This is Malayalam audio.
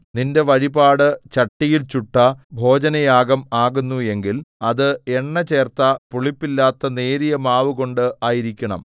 നിന്റെ വഴിപാട് ചട്ടിയിൽ ചുട്ട ഭോജനയാഗം ആകുന്നു എങ്കിൽ അത് എണ്ണചേർത്ത പുളിപ്പില്ലാത്ത നേരിയമാവുകൊണ്ട് ആയിരിക്കണം